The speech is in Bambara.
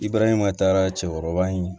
I barahima taara cɛkɔrɔba in